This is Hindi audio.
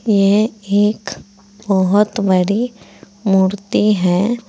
यह एक बहुत बड़ी मूर्ति है।